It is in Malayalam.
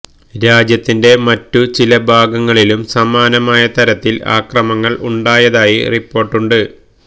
രാജ്യത്തിന്റെ മറ്റു ചില ഭാഗങ്ങളിലും സമാനമായ തരത്തില് ആക്രമണങ്ങള് ഉണ്ടായതായി റിപ്പോര്ട്ടുകളുണ്ട്